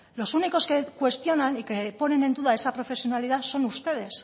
los únicos que cuestionan y que ponen en duda esa profesionalidad son ustedes